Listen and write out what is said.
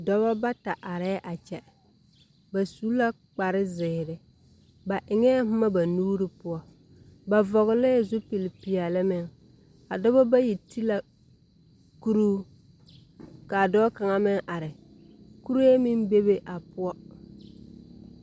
Dɔbɔ bata arɛɛ a kyɛ. Ba su kparezeere, ba eŋɛ boma ba nuuri poɔ, ba vɔglɛɛ zupilpeɛle meŋ. A dɔba bayi ti la, kuruu, kaa dɔɔ kaŋa meŋ are. Kuree meŋ bebe a poɔ.